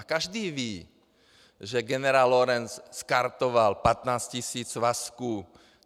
A každý ví, že generál Lorenc skartoval 15 tisíc svazků.